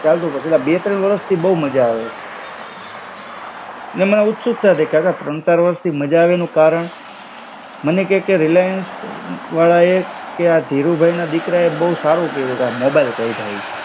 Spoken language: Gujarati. ચાલતું પછી પણ અલા બે ત્રણ વર્ષથી બો માજા આવે છે. ને મેં ઉત્સુકતાથી, કાકા ત્રણ ચાર વર્ષથી માજા આવે એનો કારણ? મને કેય કે રિલાયન્સ વાળાએ કે આ ધીરુભાઈના દીકરાએ બો સારું કઈરું કામ મોબાઈલ કાઈઢા એ.